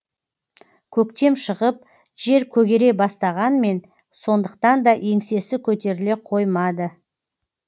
көктем шығып жер көгере бастағанмен сондықтанда еңсесі көтеріле қоймады